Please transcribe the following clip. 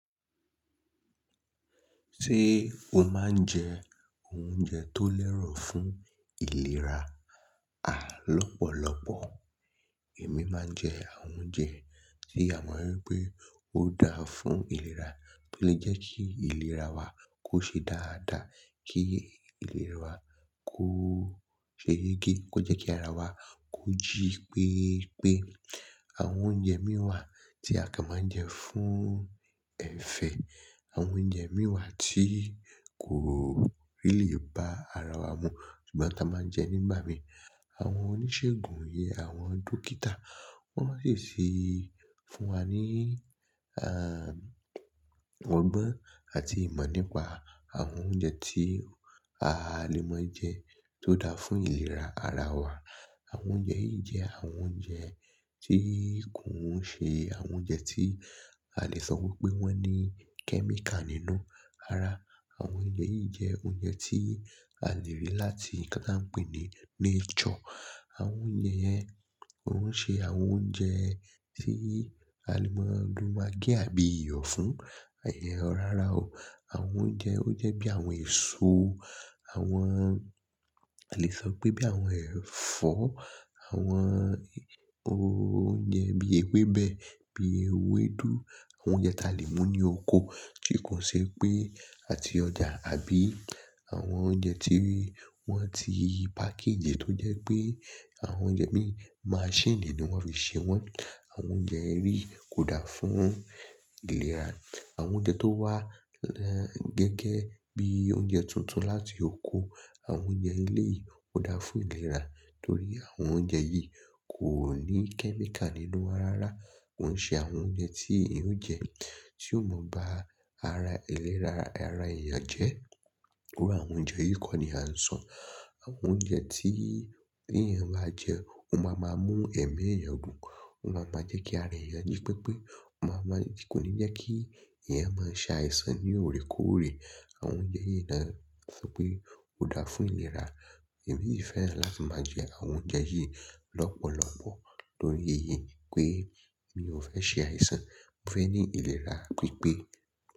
Ṣé o máa ń jẹ oúnjẹ tó lẹ́rọ̀ fún ìlera àlọ́pọ̀lọ́pọ̀? Èmi máa ń jẹ àwọn oúnjẹ tí a mọ̀ wípé ó dáa fún ìlera, tó lè jẹ́ kí ìlera wa kó ṣe dáadáa, kí ìlera wa kó ṣe géégé, kó jẹ́ kí ara wa kó jí pípé. Àwọn oúnjẹ mìíwàn tí a kàn máa ń jẹ fún ẹ̀fẹ̀, àwọn oúnjẹ mìíwàn tí kò rí lè bá ara wa mu, ṣùgbọ́n a máa ń jẹ nígbà mi. Àwọn oníṣègùn yẹn, àwọn dókítà, wọ́n máa ṣèṣì fún wa ní, ehn, ọgbọ́n àti ìmọ̀ nípa àwọn oúnjẹ tí a lè máa jẹ tó dáa fún ìlera ara wa. Àwọn oúnjẹ yìí jẹ́ àwọn oúnjẹ tí kò ń ṣe àwọn oúnjẹ tí a lè sọ wípé wọ́n ní kẹ́míkà nínú ara. Ṣé o máa ń jẹ oúnjẹ tó lẹ́rọ̀ fún ìlera àlọ́pọ̀lọ́pọ̀? Àwọn oúnjẹ yẹn òún ṣe àwọn oúnjẹ tí a lè máa lo magí àbí iyọ̀ fún. Ayé, ó rara o. Àwọn oúnjẹ, ó jẹ́ bí àwọn èso, àwọn, a lè sọ pé bí àwọn ẹ̀fọ́, àwọn oúnjẹ bí ewébẹ̀, bí ewédú, àwọn oúnjẹ tí a lè mú ní oko tí kò ṣe pé àti ọjà àbí àwọn oúnjẹ tí wọ́n ti páàkì jẹ́ tó jẹ́ pé àwọn oúnjẹ bí machine ni wọ́n fi ṣe wọ́n. Àwọn oúnjẹ eri kò dáa fún ìlera. Àwọn oúnjẹ tó wá gẹ́gẹ́ bí oúnjẹ tuntun láti oko, àwọn oúnjẹ ilé yìí ó dáa fún ìlera torí àwọn oúnjẹ yìí kò ní kẹ́míkà nínú wọn rara. Ó ń ṣe àwọn oúnjẹ tí ìyẹn ó jẹ, tí ó mọ̀ bá ara ìlera ara èèyàn jẹ́. Owurọ àwọn oúnjẹ yìí kọ́ ni à ń sọ. Àwọn oúnjẹ tí bí èèyàn bá jẹ́, ó máa máa mú ẹ̀mí èèyàn gùn, ó máa máa jẹ́ kí ara èèyàn jí pepé, ó máa máa kò ní jẹ́ kí ẹ̀yàn máa ṣa àìsàn ní òré kóòré. Àwọn oúnjẹ yìí ni a sọ pé ó dáa fún ìlera. Tori yí fẹ́ láti máa jẹ àwọn oúnjẹ yìí lọ́pọ̀lọ́pọ̀ torí èyí pé mi ò fẹ́ ṣe àìsàn, mo fẹ ní ìlera pípé.